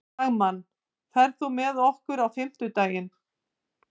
Dagmann, ferð þú með okkur á fimmtudaginn?